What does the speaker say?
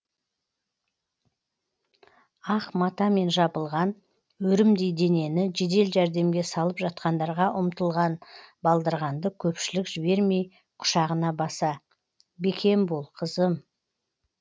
ақ матамен жабылған өрімдей денені жедел жәрдемге салып жатқандарға ұмытылған балдырғанды көпшілік жібермей құшағына баса бекем бол қызым